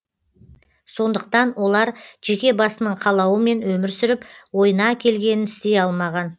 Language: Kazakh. сондықтан олар жеке басының қалауымен өмір сүріп ойына келгенін істей алмаған